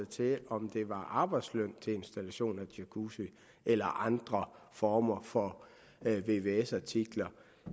til om det var arbejdsløn til installation af jacuzzi eller andre former for vvs artikler